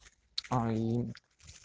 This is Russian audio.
а и